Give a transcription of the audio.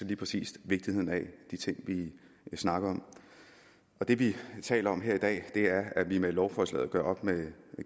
lige præcis vigtigheden af de ting vi snakker om det vi taler om her i dag er at vi med lovforslaget gør op med